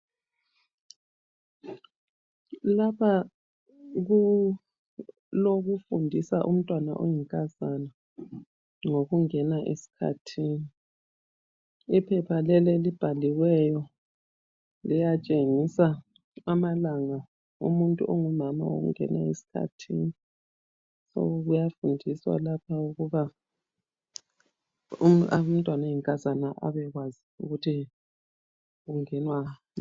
Lapha kulokufundisa umntwana oyinkazana ngokungena esikhathini, iphepha leli elibhaliweyo liyatshengisa amalanga omuntu ongumama awokungena esikhathini kuyafundiswa lapha ukuba umntwana oyinkazana abekwazi ukuthi kungenwa nga.